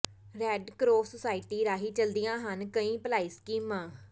red cross society ਰਾਹੀ ਚਲਦੀਆਂ ਹਨ ਕਈ ਭਲਾਈ ਸਕੀਮਾਂ